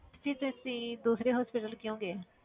ਫਿਰ ਤੁ~ ਤੁਸੀਂ ਦੂਸਰੇ hospital ਕਿਉਂ ਗਏ?